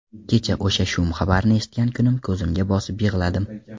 Kecha o‘sha shum xabarni eshitgan kunim ko‘zimga bosib yig‘ladim.